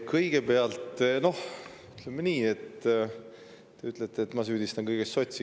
Kõigepealt, te ütlete, et ma süüdistan kõiges sotse.